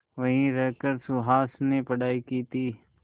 वहीं रहकर सुहास ने पढ़ाई की थी